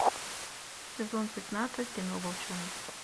сезон пятнадцать кино волчонок